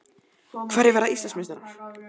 Hverjir verða Íslandsmeistarar?